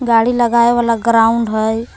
गाड़ी लगावे वला ग्राउंड हई ।